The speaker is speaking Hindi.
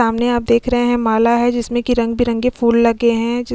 सामने आप देख रहे है माला है जिसमें कि रंग बिरंगे फूल लगे है जि --